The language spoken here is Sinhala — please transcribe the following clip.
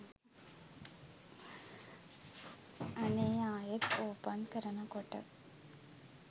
අනේ ආයෙ ඕපන් කරනකොට